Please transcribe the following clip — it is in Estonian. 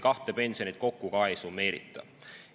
Kahte pensioni ka ei summeerita.